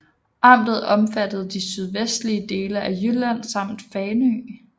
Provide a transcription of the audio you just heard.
Amtet omfattede de sydvestlige dele af Jylland samt Fanø